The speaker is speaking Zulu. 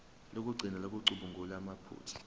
lokugcina ngokucubungula amaphutha